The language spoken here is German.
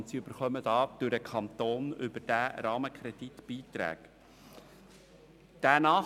Diese erhalten vom Kanton durch diesen Rahmenkredit Beiträge dafür.